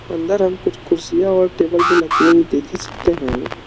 अंदर हम कुछ कुर्सियां और टेबल भी रखे हुए देख ही सकते हैं।